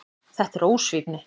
Þetta er ósvífni.